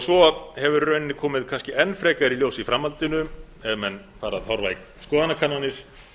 svo hefur í rauninni komið kannski enn frekar í ljós í framhaldinu ef menn fara að horfa í skoðanakannanir